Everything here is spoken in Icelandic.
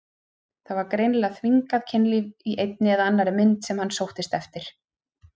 Það var greinilega þvingað kynlíf í einni eða annarri mynd sem hann sóttist eftir.